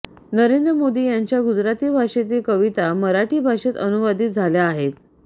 नरेंद्र मोदी यांच्या गुजराती भाषेतील कविता मराठी भाषेत अनुवादित झाल्या आहेत